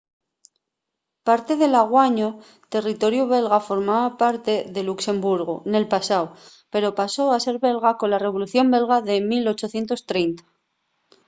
parte del anguaño territoriu belga formaba parte de luxemburgu nel pasáu pero pasó a ser belga cola revolución belga de 1830